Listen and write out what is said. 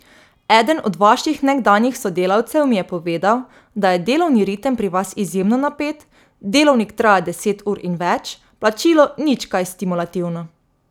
Eden od vaših nekdanjih sodelavcev mi je povedal, da je delovni ritem pri vas izjemno napet, delovnik traja deset ur in več, plačilo nič kaj stimulativno.